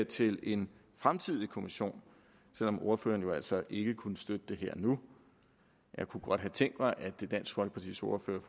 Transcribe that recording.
til en fremtidig kommission selv om ordføreren jo altså ikke kunne støtte det her og nu jeg kunne godt have tænkt mig at dansk folkepartis ordfører